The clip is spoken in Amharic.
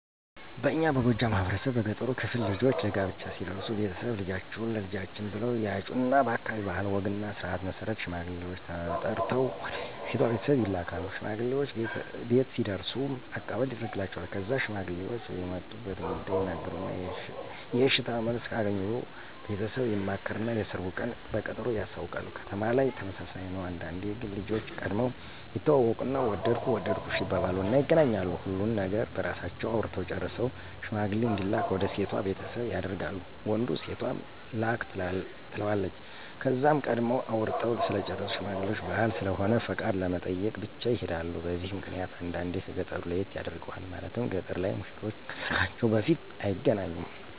በእኛ በጎጃም ማህበረሰብ በገጠሩ ክፍል ልጆች ለጋብቻ ሲደርሱ ቤተሰብ፣ ልጃችሁን ለልጃችን ብለው ያጩና በአካባቢው ባህል ወግና ስርዓት መሰረት ሽማግሌውች ተመርጠው ወደ ሴቷ ቤተሰብ ይላካል። ሽማግሌውች ቤት ሲደርሱም አቀባበል ይደርግላቸዋል። ከዛ ሽማግሌውች የመጡበትን ጉዳይ ይናገሩና የእሽታ መልስ ከአገኙ ቤተሰብ ይማከርና የሰርጉን ቀን በቀጠሮ ያሳውቃሉ። ከተማ ላይም ተመሳሳይ ነው። አንዳንዴ ግን ልጆች ቀድመው ይተዋወቁና ወደድኩህ ወደድኩሽ ይባባሉና ይገናኛሉ። ሁሉን ነገር በራሳቸው አውርተው ጨርሰው ሽማግሌ እንዲላክ ወደ ሴቷ ቤተሰብ ያደርጋል ወንዱ ሴቷም ላክ ትለዋለች። ከዛም ቀድመው አውርተው ስለጨረሱ ሽማግሌውች ባህል ስለሆነ ፍቃድ ለመጠየቅ ብቻ ይሔዳሉ። በዚህ ምክንያት አንዳንዴ ከ ገጠሩ ለየት ያደርገዋል። ማለትም ገጠር ላይ ሙሽሮች ከሰርጋቸው በፊት አይገናኙም።